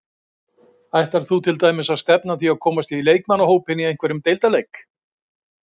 Ætlar þú til dæmis að stefna að því að komast í leikmannahópinn í einhverjum deildarleik?